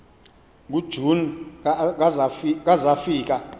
kujuni ka zafika